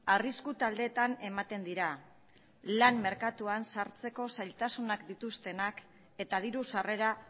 arrisku taldeetan ematen dira lan merkatuan sartzeko zailtasunak dituztenak eta diru sarrera